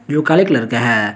जो काले कलर का है।